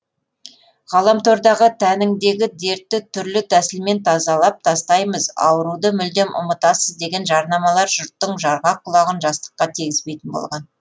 ғаламтордағы тәніңдегі дертті түрлі тәсілмен тазалап тастаймыз ауруды мүлдем ұмытасыз деген жарнамалар жұрттың жарғақ құлағын жастыққа тигізбейтін болған